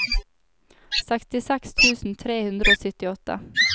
sekstiseks tusen tre hundre og syttiåtte